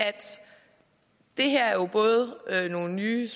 det her både er nogle nye